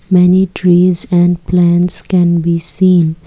many trees and plants can be seen.